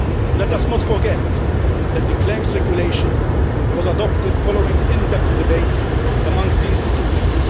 Let us not forget that the Claims Regulation was adopted following in depth debate amongst the institutions.